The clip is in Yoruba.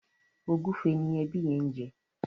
ògúfe ni ẹbi yen ń jẹ